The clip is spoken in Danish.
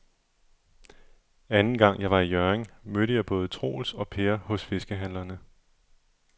Anden gang jeg var i Hjørring, mødte jeg både Troels og Per hos fiskehandlerne.